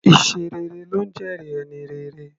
Iṣẹ́ rere ló ńjẹ́ẹ̀rí ẹni rere.